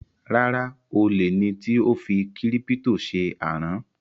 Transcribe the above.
Rárá, olè ni tí ó fi kírípítò ṣe àrán